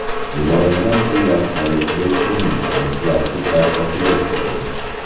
Yuborilgan pullar qabul qiluvchining bank plastik kartasiga tushadi.